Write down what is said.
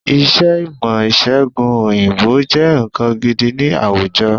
Iṣẹ́ ìmọ̀-ìṣẹ̀gùn òyìnbó jẹ́ nǹkan gidi ni àwùjọ.